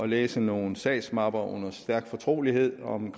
læse nogle sagsmapper under stærk fortrolighed om